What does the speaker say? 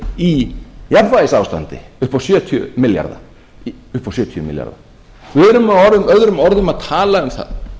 í jafnvægisástandi upp á sjötíu milljarða við erum með öðrum orðum að tala um það